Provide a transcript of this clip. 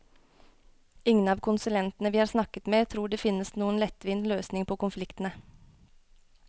Ingen av konsulentene vi har snakket med tror det finnes noen lettvint løsning på konfliktene.